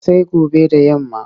Sai gobe da yamma.